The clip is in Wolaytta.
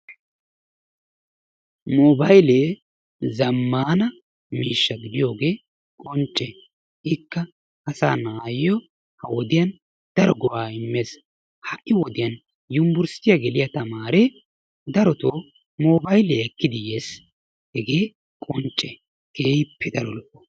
mobaylle zammaana miishsha gidiyooge qoncce, ikka asaa na'ayyo ha wodiyaan daro go''a immees. ha'i nu wodiyaan yunbbursttiya geliyaa tamaare darotoo mobaylliya ekkidi yees. hegee qoncce keehippe daro lo''o.